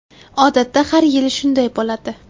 Odatda har yili shunday bo‘ladi.